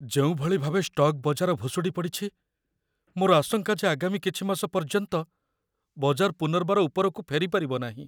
ଯେଉଁଭଳି ଭାବେ ଷ୍ଟକ୍ ବଜାର ଭୁଶୁଡ଼ି ପଡ଼ିଛି, ମୋର ଆଶଙ୍କା ଯେ ଆଗାମୀ କିଛି ମାସ ପର୍ଯ୍ୟନ୍ତ ବଜାର ପୁନର୍ବାର ଉପରକୁ ଫେରିପାରିବ ନାହିଁ।